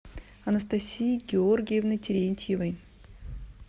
анастасии георгиевны терентьевой